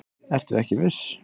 Ertu ekki viss?